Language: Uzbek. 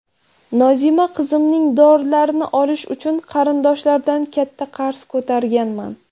Nozima qizimning dorilarini olish uchun qarindoshlardan katta qarz ko‘targanman.